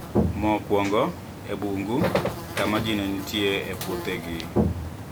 Mokwongo, e bungu, kama ji ne nitie e puothegi.